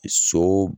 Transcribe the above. So